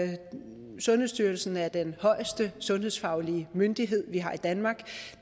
sundhedsstyrelsen er den højeste sundhedsfaglige myndighed vi har i danmark